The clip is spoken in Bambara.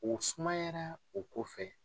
O sumayara o ko fɛ.